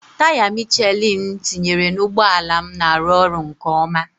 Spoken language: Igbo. Taya Michelin m tinyere na ụgbọ ala m na-arụ ọrụ nke ọma.